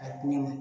A ko